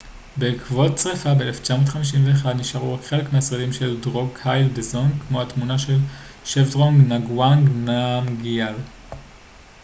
בעקבות שריפה ב-1951 נשארו רק חלק מהשרידים של דרוקגייל דזונג כמו התמונה של שבדרונג נגוואנג נמגיאל